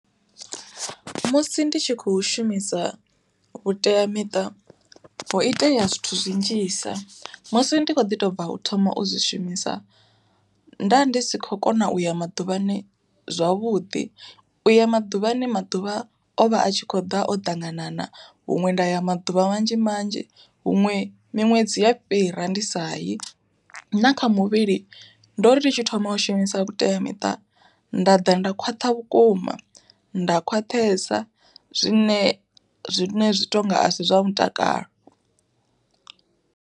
Musi ndi tshi kho shumisa vhuteamiṱa, ho itea zwithu zwi nnzhisa. Musi ndi kho ḓi to bva u thoma u zwi shumisa, nda ndi si khou kona u ya maḓuvhani zwavhuḓi, u ya maḓuvhani maḓuvha o vha a tshi kho ḓa o ṱanganana, huṅwe nda ya maḓuvha manzhi manzhi huṅwe miṅwedzi ya fhira ndi sa yi. Na kha muvhili ndo ri tshi thoma u shumisa vhuteamiṱa nda ḓa nda khwaṱha vhukuma, nda khwaṱhesa zwine zwine zwi tonga asi zwa mutakalo.